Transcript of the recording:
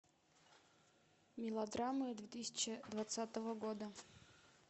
мелодрамы две тысячи двадцатого года